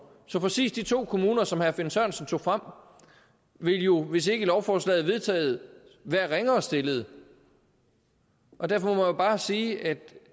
så præcis de to kommuner som herre finn sørensen tog frem ville jo hvis ikke lovforslaget blev vedtaget være ringere stillet derfor må jeg bare sige at